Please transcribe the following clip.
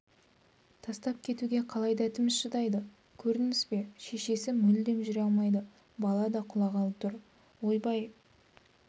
тастап кетуге қалай дәтіміз шыдайды көрдіңіз бе шешесі мүлде жүре алмайды бала да құлағалы тұр ойбай